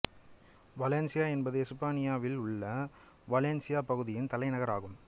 Valencia என்பது எசுப்பானியாவில் உள்ள வாலேன்சியா பகுதியின் தலைநகரம் ஆகும்